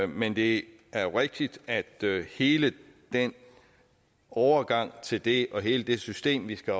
men det er jo rigtigt at hele den overgang til det og hele det system vi skal